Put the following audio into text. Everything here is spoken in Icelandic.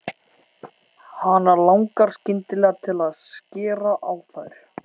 Hana langar skyndilega til að skera á þær.